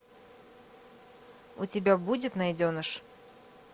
у тебя будет найденыш